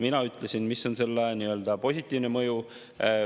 Mina ütlesin, mis on selle positiivne mõju.